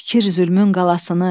tekir zülmün qalasını.